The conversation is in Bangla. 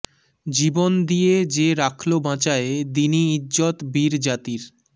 জীবন দিয়ে যে রাখলো বাঁচায়ে দীনি ইজ্জত বীর জাতির